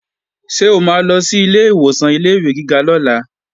Ṣé o máa lọ sí ilé ìwòsàn ilé-ìwé gíga lọ́la?